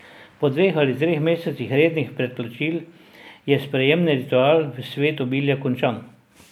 Po dveh ali treh mesecih rednih predplačil je sprejemni ritual v svet obilja končan.